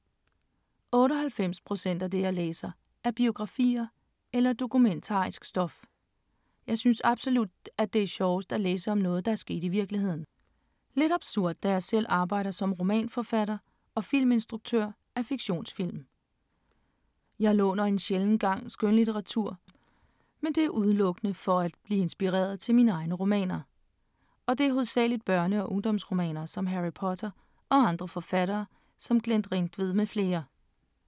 98 procent af det, jeg læser, er biografier og dokumentarisk stof. Jeg synes absolut, at det er sjovest at læse om noget, der er sket i virkeligheden. Lidt absurd da jeg selv arbejder som romanforfatter og filminstruktør af fiktionsfilm. Jeg låner en sjælden gang skønlitteratur, men det er udelukkende for at blive inspireret til mine egne romaner. Og det er hovedsageligt børne-og ungdomsromaner, som Harry Potter, og andre forfattere som Glenn Ringtved med flere.